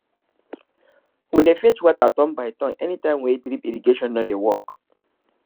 we dey fetch water turn by turn anytime wey drip irrigation no dey work